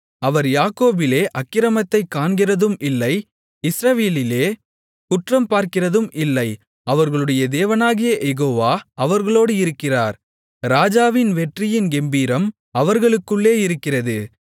அவர் யாக்கோபிலே அக்கிரமத்தைக் காண்கிறதும் இல்லை இஸ்ரவேலிலே குற்றம் பார்க்கிறதும் இல்லை அவர்களுடைய தேவனாகிய யெகோவா அவர்களோடு இருக்கிறார் ராஜாவின் வெற்றியின் கெம்பீரம் அவர்களுக்குள்ளே இருக்கிறது